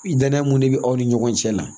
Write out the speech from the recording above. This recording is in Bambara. Danaya mun de bɛ aw ni ɲɔgɔn cɛ la